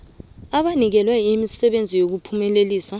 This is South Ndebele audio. abanikelwe umsebenzi wokuphumelelisa